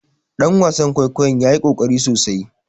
Dan wasan kwaikwayon ya yi kokari sosai